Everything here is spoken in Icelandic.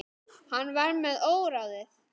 Hann var með óráði.